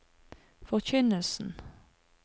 forkynnelsen